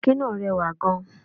Ọ̀kín náà rẹwà gan.